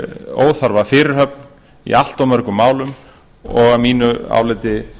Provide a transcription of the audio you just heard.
óþarfa fyrirhöfn í allt of mörgum málum og að mínu áliti